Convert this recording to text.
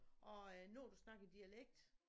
Og øh når du snakker dialekt